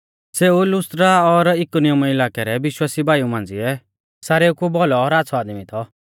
सेऊ लुस्त्रा और इकुनियुमा इलाकै रै विश्वासी भाईऊ मांझ़िऐ सारेऊ कु भौलौ और आच़्छ़ौ आदमी थौ